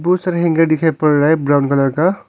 बहुत सारे हैंगर दिखाई पड़ रहा है ब्राउन कलर का।